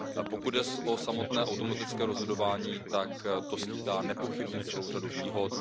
Pokud jde o samotné automatické rozhodování, tak to skýtá nepochybně celou řadu výhod.